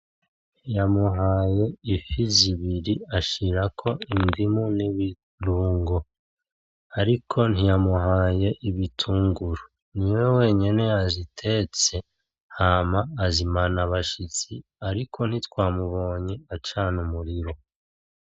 Yamuhaye ifi zibiri ashirako indimu n’ibirungo ariko ntiyamuhaye ibitunguru. Niwe wenyene yazitetse hama azimana abashitsi ariko ntitwamubonye acana umuriro.